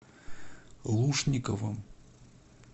лушниковым